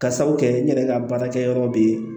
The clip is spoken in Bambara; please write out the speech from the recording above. Ka sabu kɛ n yɛrɛ ka baarakɛyɔrɔ de ye